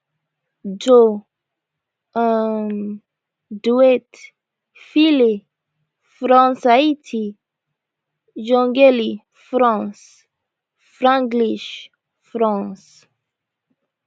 joe um dwet file francehaiti jungeli france franglish france